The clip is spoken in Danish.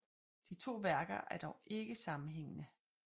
De to værker er dog ikke sammenhængende